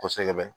Kosɛbɛ